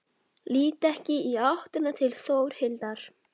Lít ekki í áttina til Þórhildar.